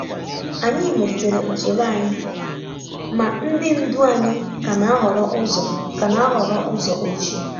Anyị melitere usoro anyị, ma ndi ndu anyị ka na-ahọrọ ụzọ ka na-ahọrọ ụzọ ochie.